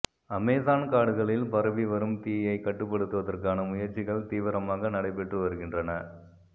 Amazon காடுகளில் பரவி வரும் தீயை கட்டுப்படுத்துவதற்கான முயற்சிகள் தீவிரமாக நடைபெற்று வருகின்றன